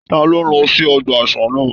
Taló lọ sí ọgbà àṣà náà?